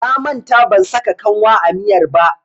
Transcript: Na manta ban saka kanwa a miyar ba.